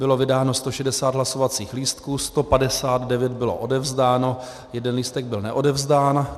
Bylo vydáno 160 hlasovacích lístků, 159 bylo odevzdáno, jeden lístek byl neodevzdán.